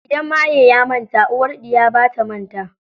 Idan maye ya manta, uwar ɗiya bata manta.